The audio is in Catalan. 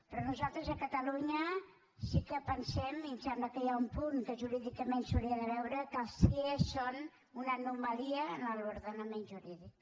però nosaltres a catalunya sí que pensem i em sembla que hi ha un punt que jurídicament s’hauria de veure que els cie són una anomalia en l’ordenament jurídic